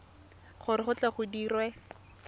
gore go tle go dirwe